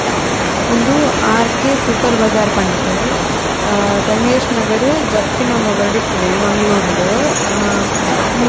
ಉಂದು R K super bazaar ಪಂಡ್ ದು ಗಣೇಶ್ ನಗರ್ ಜಪ್ಪಿನಮೊಗರು ಇಪ್ಪುನೆ ಮಂಗಳೂರುಡು ಮುಲ್ಪ--